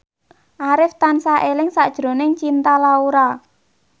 Arif tansah eling sakjroning Cinta Laura